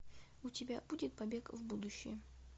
у тебя будет побег в будущее